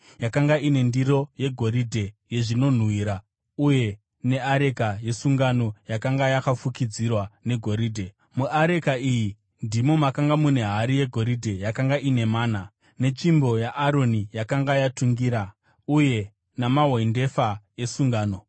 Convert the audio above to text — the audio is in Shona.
yakanga ine ndiro yegoridhe yezvinonhuhwira uye neareka yesungano yakanga yakafukidzirwa negoridhe. Muareka iyi ndimo makanga mune hari yegoridhe yakanga ine mana, netsvimbo yaAroni yakanga yatungira, uye namahwendefa esungano.